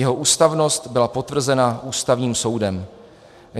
Jeho ústavnost byla potvrzena Ústavním soudem.